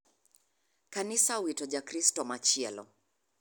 Kanisa owito ja kristo machielo.